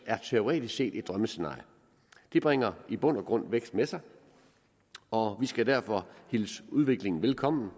er teoretisk set et drømmescenarie det bringer i bund og grund vækst med sig og vi skal derfor hilse udviklingen velkommen